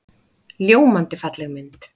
Ljómandi falleg mynd.